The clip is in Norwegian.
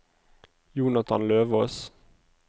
Jonathan Løvås